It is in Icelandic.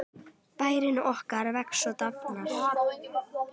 Bærinn okkar vex og dafnar.